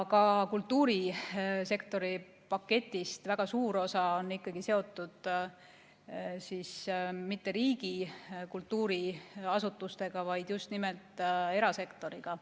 Ka kultuurisektori paketist väga suur osa ei ole seotud mitte riigi kultuuriasutustega, vaid just nimelt erasektoriga.